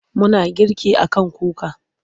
Muna girki a kan kuka.